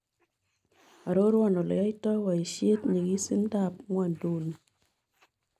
Aroruan ole yaiito boiisiet ny'ikisindoap ng'wonynduni